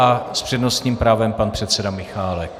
A s přednostním právem pan předseda Michálek.